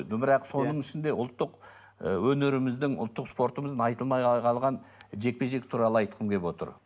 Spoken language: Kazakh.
бірақ соның ішінде ұлттық ы өнеріміздің ұлттық спортымыздың айтылмай қалған жекпе жек туралы айтқым келіп отыр